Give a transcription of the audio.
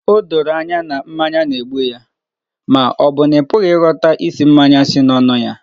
O doro anya na mmanya na-egbu ya ma ọ bụ na ị pụghị ịghọta ísì mmanya si n'ọnụ ya?